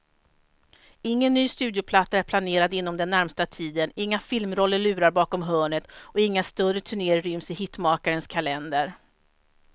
Ingen ny studioplatta är planerad inom den närmaste tiden, inga filmroller lurar bakom hörnet och inga större turnéer ryms i hitmakarens kalender.